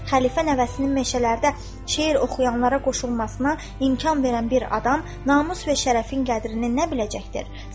Xəlifə nəvəsinin meşələrdə şeir oxuyanlara qoşulmasına imkan verən bir adam namus və şərəfin qədrini nə biləcəkdir?